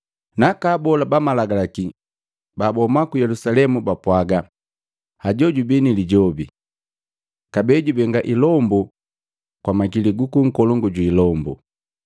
Naka Abola bamalagalaki babahuma ku Yelusalemu bapwaaga, “Hajoo jubii ni Lijobi! Kabee jubenga ilombu kwa makili guku nkolongu jwi ilombu.”